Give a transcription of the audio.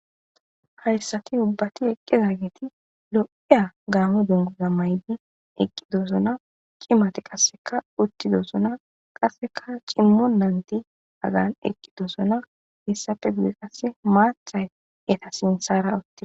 hayssati ubbati eqqezageti lo7eya gaamo dungoza maydi eqqidosona qimati qasseka uttidosona qasseka cimmo nanti agan eqqidosona hessafe gude qasse maathay eta sinsara utti